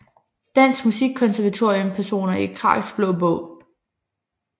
Danske Musikkonservatorium Personer i Kraks Blå Bog